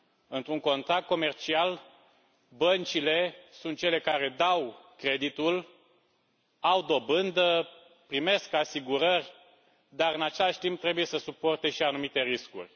Într un contract comercial, băncile sunt cele care dau creditul, au dobândă, primesc asigurări dar, în același timp, trebuie să suporte și anumite riscuri.